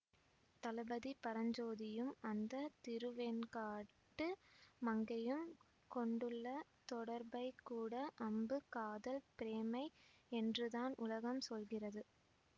தளபதி பரஞ்சோதியும் அந்த திருவெண்காட்டு மங்கையும் கொண்டுள்ள தொடர்பைக்கூட அம்பு காதல் பிரேமை என்றுதான் உலகம் சொல்கிறது